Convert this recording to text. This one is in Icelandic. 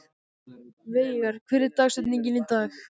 Veigar, hver er dagsetningin í dag?